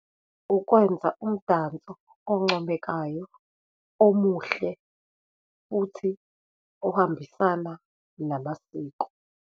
Ukwenza umdanso oncomekayo, omuhle, futhi ohambisana namasiko.